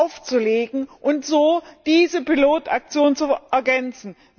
aufzulegen und so diese Pilotaktionen zu ergänzen.